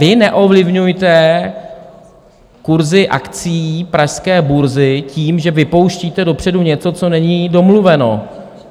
vy neovlivňujte kurzy akcií pražské burzy tím, že vypouštíte dopředu něco, co není domluveno.